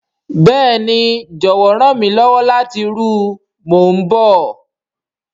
Béèni, jọwọ ran mi lọwọ lati ru o, mo n bọ.